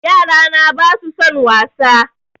Yarana ba su son wasa